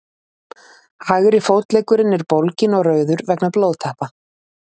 hægri fótleggurinn er bólginn og rauður vegna blóðtappa